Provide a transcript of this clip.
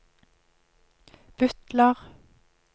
butler